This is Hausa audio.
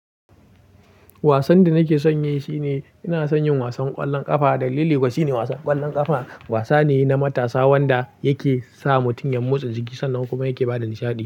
Wasan da nake son yi shine ina son yin wasan ƙwallon ƙafa. Dalili kuwa shine wasan ƙwallon ƙafa wasa ne na matasa wanda yake sa mutum ya motsa jiki sannan kuma yake ba da nishaɗi.